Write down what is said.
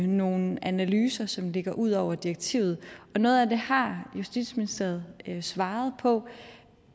nogle analyser som ligger ud over direktivet noget af det har justitsministeriet svaret på